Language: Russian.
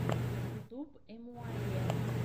ютьюб эмуаййэ